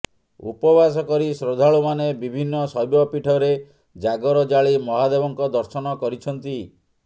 ଉପବାସ କରି ଶ୍ରଦ୍ଧାଳୁମାନେ ବିଭିନ୍ନ ଶୈବ ପୀଠରେ ଜାଗର ଜାଳି ମହାଦେବଙ୍କ ଦର୍ଶନ କରିଛନ୍ତି